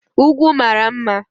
Ugwu mara mma